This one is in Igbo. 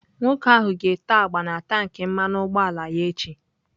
Nwoke ahụ ga-ete agba na tankị mmanu ugboala ya echi.